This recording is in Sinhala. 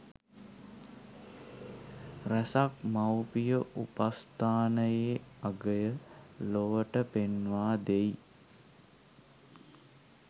රැසක් මවුපිය උපස්ථානයේ අගය ලොවට පෙන්වා දෙයි.